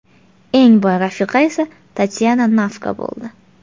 Eng boy rafiqa esa Tatyana Navka bo‘ldi.